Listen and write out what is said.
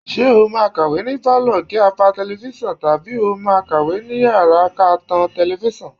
Ṣé o máa kàwé ni pálọ̀ kí á pa tẹlifíṣàn tàbí ó máa kàwé ní yàrá ká tan tẹlifíṣàn?